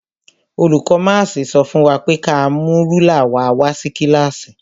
Olùkó máàsì sọ fún wa pé ka mú rúlà wa wá sí kílàsì.